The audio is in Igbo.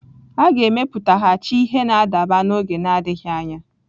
A ga-emepụtaghachi ihe na-adaba n'oge na-adịghị anya.